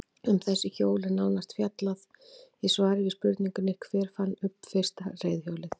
Um þessi hjól er nánar fjallaði í svari við spurningunni Hver fann upp fyrsta reiðhjólið?